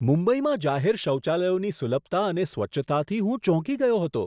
મુંબઈમાં જાહેર શૌચાલયોની સુલભતા અને સ્વચ્છતાથી હું ચોંકી ગયો હતો.